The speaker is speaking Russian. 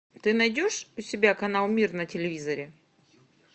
ты найдешь у себя канал мир на телевизоре